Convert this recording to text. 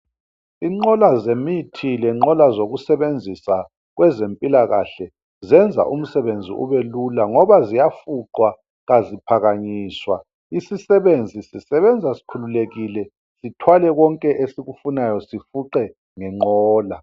Inqola zemithi lenqola zokusebenzisa kwezempilakahle zenza umsebenzi ubelula ngoba ziyafuqwa kaziphakanyiswa, isisebenzi sisebenza sikhululekile sithwale konke esikufunayo sifuqe ngenqola.